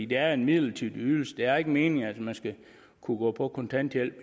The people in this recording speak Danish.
det er en midlertidig ydelse det er ikke meningen at man skal kunne gå på kontanthjælp